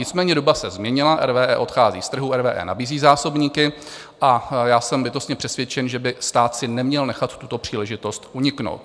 Nicméně doba se změnila, RWE odchází z trhu, RWE nabízí zásobníky a já jsem bytostně přesvědčen, že by stát si neměl nechat tuto příležitost uniknout.